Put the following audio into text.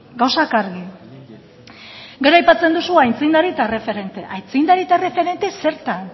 gauzak argi gero aipatzen duzu aitzindari eta erreferente aitzindari eta erreferente zertan